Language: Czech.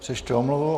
Přečtu omluvu.